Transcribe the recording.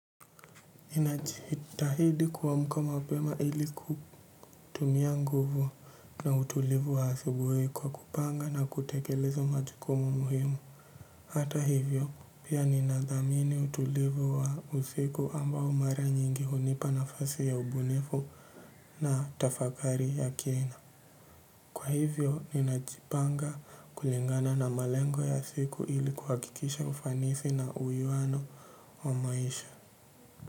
Inachitahidi kuwamka mapema ili kutumia nguvu na utulivu wa asubuwi kwa kupanga na kutekeleza majukumu muhimu. Hata hivyo pia ninadhamini utulivu wa usiku ambao mara nyingi hunipa na fasi ya ubunifu na tafakari ya kina. Kwa hivyo ninachipanga kulingana na malengo ya siku ili kuhakikisha ufanisi na uyuano wa maisha.